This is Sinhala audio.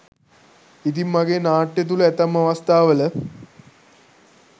ඉතිං මගේ නාට්‍ය තුළ ඇතැම් අවස්ථාවල